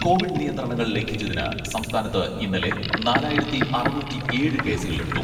Covid നിയന്ത്രണങ്ങൾ ലംഘിച്ചതിന് സംസ്ഥാനത്ത് ഇന്നലെ നാലായിരത്തി അറുന്നൂറ്റി ഏഴ് കേസുകളെടുത്തു.